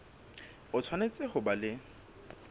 o tshwanetse ho ba le